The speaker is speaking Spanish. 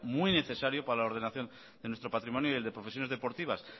muy necesario para la ordenación de nuestro patrimonio y el de profesiones deportivas